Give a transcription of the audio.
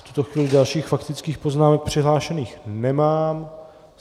V tuto chvíli dalších faktických poznámek přihlášených nemám.